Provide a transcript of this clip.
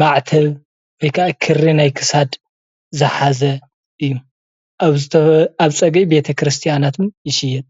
ማዕተብ ወይ ከዓ ክሪ ናይ ክሳድ ዝሓዘ እዩ፡፡ ኣብ ፀግዒ ቤተክርስትያናት እውን ይሽየጥ፡፡